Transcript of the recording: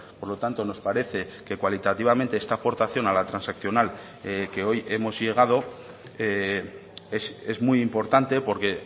por lo tanto nos parece que cualitativamente esta aportación a la transaccional que hoy hemos llegado es muy importante porque